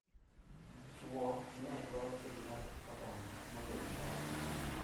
chwo ne dwaro keny mar kit oganda moloyo mon.